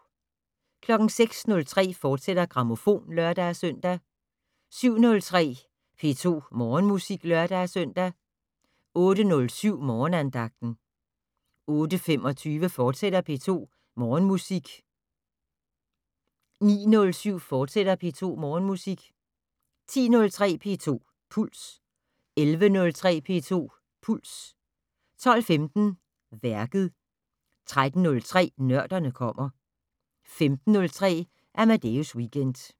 06:03: Grammofon, fortsat (lør-søn) 07:03: P2 Morgenmusik (lør-søn) 08:07: Morgenandagten 08:25: P2 Morgenmusik, fortsat 09:07: P2 Morgenmusik, fortsat 10:03: P2 Puls 11:03: P2 Puls 12:15: Værket 13:03: Nørderne kommer 15:03: Amadeus Weekend